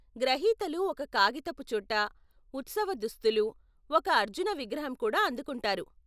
గ్రహీతలు ఒక కాగితపు చుట్ట, ఉత్సవ దుస్తులు, ఒక అర్జున విగ్రహం కూడా అందుకుంటారు.